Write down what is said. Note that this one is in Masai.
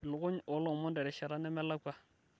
ilukuny oolomon terishata nemelakua